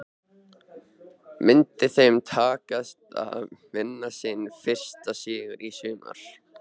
Myndi þeim takast að vinna sinn fyrsta sigur í sumar?